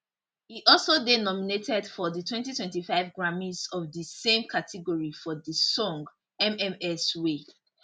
e also dey nominated for di 2025 grammys of di same category for di song mms wey